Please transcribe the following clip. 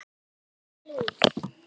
Því þeir líta vel út?